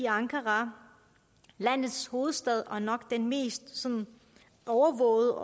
ankara landets hovedstad og nok den mest overvågede